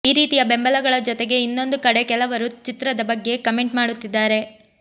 ಈ ರೀತಿಯ ಬೆಂಬಲಗಳ ಜೊತೆಗೆ ಇನ್ನೊಂದು ಕಡೆ ಕೆಲವರು ಚಿತ್ರದ ಬಗ್ಗೆ ಕಮೆಂಟ್ ಮಾಡುತ್ತಿದ್ದಾರೆ